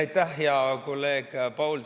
Aitäh, hea kolleeg Paul!